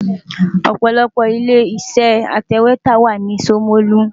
Ọ̀pọ̀lọpọ̀ ilé-iṣẹ́ atẹ̀wétà wà ní Ṣomolu.